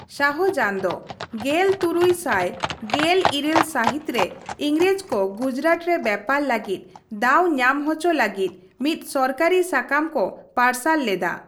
ᱥᱟᱦᱡᱟᱱ ᱫᱚ ᱜᱮᱞ ᱛᱩᱨᱩᱭ ᱥᱟᱭ ᱜᱮᱞ ᱤᱨᱟᱹᱞ ᱥᱟᱹᱦᱤᱛ ᱨᱮ ᱮᱝᱨᱮᱡᱽ ᱠᱚ ᱜᱩᱡᱽᱨᱟᱴ ᱨᱮ ᱵᱮᱯᱟᱨ ᱞᱟᱹᱜᱤᱫ ᱫᱟᱣ ᱧᱟᱢ ᱦᱚᱪᱚ ᱞᱟᱹᱜᱤᱫ ᱢᱤᱫ ᱥᱚᱨᱠᱟᱨᱤ ᱥᱟᱠᱟᱢ ᱠᱚ ᱯᱟᱨᱥᱟᱞ ᱞᱮᱫᱟ ᱾